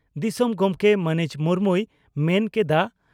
ᱫᱤᱥᱚᱢ ᱜᱚᱢᱠᱮ ᱢᱟᱹᱱᱤᱡ ᱢᱩᱨᱢᱩᱭ ᱢᱮᱱ ᱠᱮᱰᱼᱟ